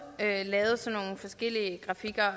lavet lavet sådan nogle forskellige grafikker